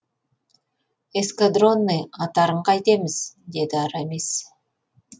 эскадронный аттарын қайтеміз деді арамис